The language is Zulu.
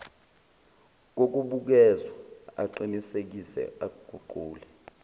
kokubukezwa aqinisekise aguqule